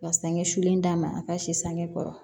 Ka sangusu d'a ma a ka si sanŋɛ kɔrɔ